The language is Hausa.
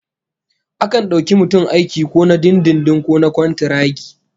Akan dauki mutum aiki ko na dindindin ko na kwantaragi